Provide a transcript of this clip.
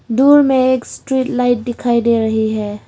दूर में एक स्ट्रीट लाइट दिखाई दे रही हैं।